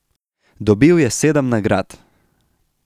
Dobil je sedem nagrad.